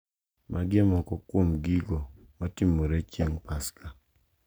Magi e moko kuom gigo matimore chieng` Paska.